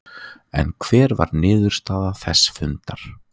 En hver var niðurstaða þess fundar?